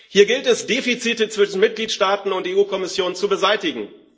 Hier gilt es, Defizite zwischen Mitgliedstaaten und der EU Kommission zu beseitigen.